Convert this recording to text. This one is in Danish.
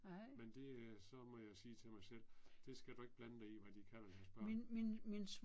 Men det øh så må jeg sige til mig selv det skal du ikke blande dig i hvad de kalder deres børn